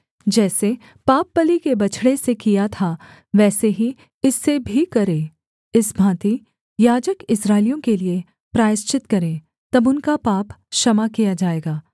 जैसे पापबलि के बछड़े से किया था वैसे ही इससे भी करे इस भाँति याजक इस्राएलियों के लिये प्रायश्चित करे तब उनका पाप क्षमा किया जाएगा